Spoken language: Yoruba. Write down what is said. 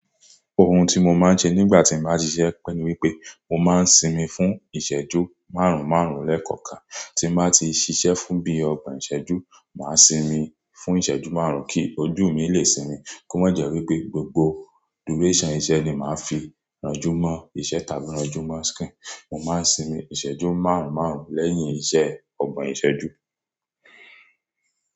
Ohun tí mo máa ń se nígbà tí màá ti ṣiṣẹ́ pé ni wípé mo máa ń sinmi fún ìṣẹ́jú márùn márùn lẹ́ẹ̀kọ̀kan tí màá ti ṣiṣẹ́ fún bíi ọgbọ̀n ìṣẹ́jú. Màá sinmi fún ìṣẹ́jú márùn-ún kí ojú mi lè sinmi kó má jẹ́ wípé gbogbo duration iṣẹ́ ni màá fi rọjúmọ́ iṣẹ́ tàbí rọjúmọ́ skín. Mo máa ń sinmi ìṣẹ́jú márùn márùn lẹ́yìn iṣẹ́ ọgbọ̀n ìṣẹ́jú.